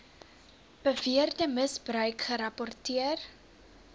beweerde misbruik gerapporteer